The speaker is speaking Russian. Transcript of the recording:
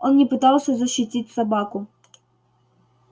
он не пытался защитить собаку